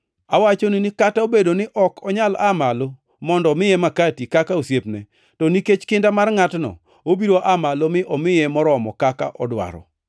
Awachonu ni kata obedo ni ok onyal aa malo mondo omiye makati kaka osiepne, to nikech kinda mar ngʼatno, obiro aa malo mi omiye moromo kaka odwaro.